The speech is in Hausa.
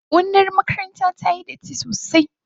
Gonar makarantar tayi datti sosai.